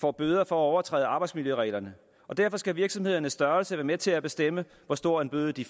får bøder for at overtræde arbejdsmiljøreglerne og derfor skal virksomhedernes størrelse være med til at bestemme hvor stor en bøde de